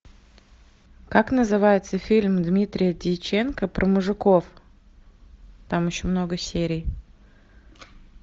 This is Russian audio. как называется фильм дмитрия дьяченко про мужиков там еще много серий